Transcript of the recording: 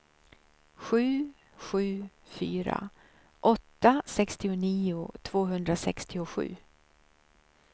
sju sju fyra åtta sextionio tvåhundrasextiosju